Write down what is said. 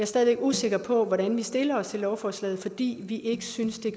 stadig væk usikker på hvordan vi stiller os til lovforslaget fordi vi ikke synes det